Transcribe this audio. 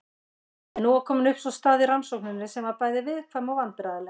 En nú var komin upp staða í rannsókninni sem var bæði viðkvæm og vandræðaleg.